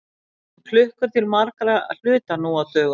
Við notum klukkur til margra hluta nú á dögum.